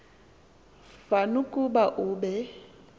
fan ukuba be